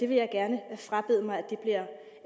vil gerne frabede mig